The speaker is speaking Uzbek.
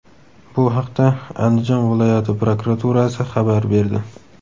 Bu haqda Andijon viloyati prokuraturasi xabar berdi .